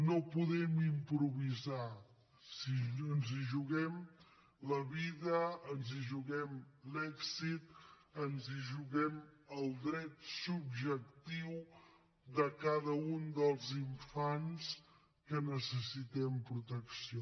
no podem improvisar ens hi juguem la vida ens hi juguem l’èxit ens hi juguem el dret subjectiu de cada un dels infants que necessiten protecció